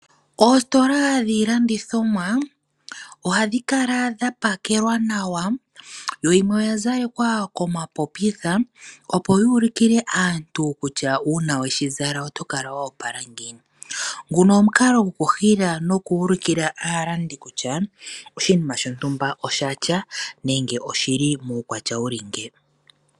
Oositola dhiilandithomwa ohadhi kala dha pakelwa nawa, yo yimwe oya zalekwa komapopitha, opo yuulukile aantu kutya uuna weshi zala oto kala woopala ngiini. Nguno omukalo goku hila nokuulikila aalandi kutya oshinima shontumba oshatya nenge oshili muukwatya wuli nge.